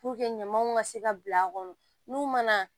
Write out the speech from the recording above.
ɲamaw ka se ka bila a kɔnɔ n'u mana